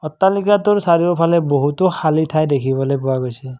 অট্টালিকাটোৰ চাৰিওফালে বহুতো শালি ঠাই দেখিবলৈ পোৱা গৈছে।